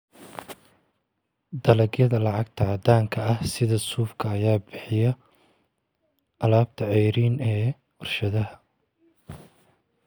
Dalagyada lacagta caddaanka ah sida suufka ayaa bixiya alaabta ceeriin ee warshadaha.